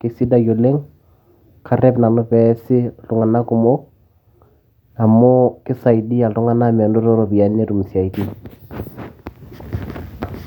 kisidai oleng, karrep nanu peesi iltung'anak kumok amu kisaidia iltung'anak menoto iropiyiani netum isiaitin.